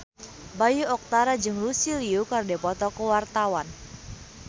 Bayu Octara jeung Lucy Liu keur dipoto ku wartawan